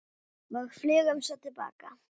Og flugum svo til baka.